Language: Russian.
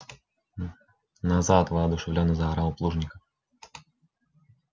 назад воодушевлённо заорал плужников